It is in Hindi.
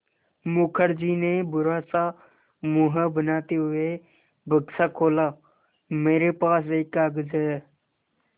मुखर्जी ने बुरा सा मुँह बनाते हुए बक्सा खोला मेरे पास एक कागज़ है